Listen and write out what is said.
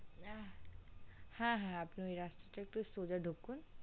হ্যা হ্যা আপনি ওই রাস্তাটাই একটু সোজা ঢকুন।